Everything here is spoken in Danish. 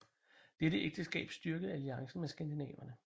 Dette ægteskab styrkede alliancen med skandinaverne